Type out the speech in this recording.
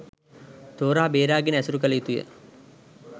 තෝරා බේරා ගෙන ඇසුරු කළ යුතුය.